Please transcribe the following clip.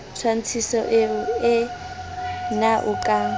tshwantshiso ee na o ka